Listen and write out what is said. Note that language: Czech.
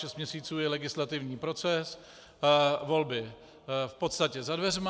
Šest měsíců je legislativní proces, volby v podstatě za dveřmi.